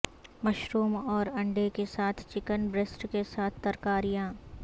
mushroom اور انڈے کے ساتھ چکن بریسٹ کے ساتھ ترکاریاں